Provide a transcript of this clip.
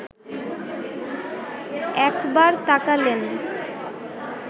একবার তাকালেন